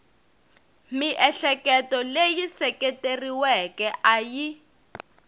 miehleketo leyi seketeriweke a yi